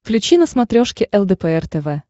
включи на смотрешке лдпр тв